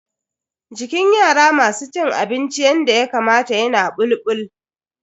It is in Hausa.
Jikin yara masu cin abinci yanda Yakamata yana bulbul.